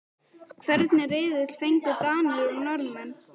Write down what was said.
Hvernig riðil fengu Danir og Norðmenn?